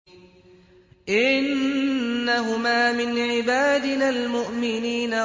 إِنَّهُمَا مِنْ عِبَادِنَا الْمُؤْمِنِينَ